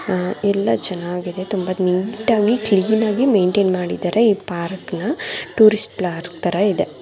ಅಹ್ ಎಲ್ಲಾ ಚನ್ನಾಗಿ ಇದೆ ತುಂಬಾ ನೀಟಾಗಿ ಆಗಿ ಕ್ಲೀನ್ ಆಗಿ ಮೈನ್ಟೈನ್ ಮಾಡಿದ್ದಾರೆ ಈ ಪಾರ್ಕನ . ಟೂರಿಸ್ಟ್ ಪಾರ್ಕ್ ತರ ಇದೆ.